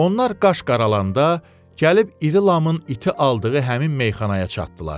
Onlar qaş qaralanda, gəlib İri Lamın iti aldığı həmin meyxanaya çatdılar.